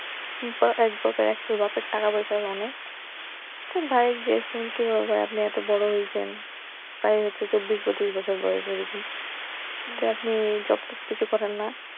এক বাপের এক ছেলে বাপের টাকা পয়সা আছে অনেক তো ভাইকে জিজ্ঞাসা কি ব্যাপার ভাই আপনি এত বড় হইছেন প্রায় হচ্ছে চব্বিশ পচিশ বছর বয়স এইরকম তো আপনি জব টব কিছু করেনা?